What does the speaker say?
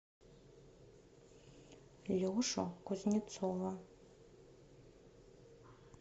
лешу кузнецова